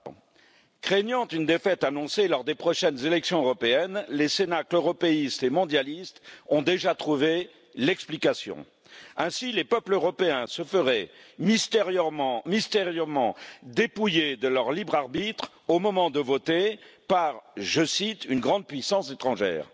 Monsieur le Président, craignant une défaite annoncée lors des prochaines élections européennes, les cénacles européistes et mondialistes ont déjà trouvé l'explication les peuples européens se feraient mystérieusement dépouillés de leur libre arbitre au moment de voter par, je cite, une grande puissance étrangère.